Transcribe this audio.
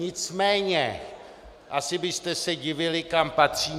Nicméně asi byste se divili, kam patřím.